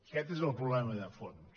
aquest és el problema de fons